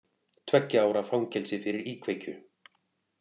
Tveggja ára fangelsi fyrir íkveikju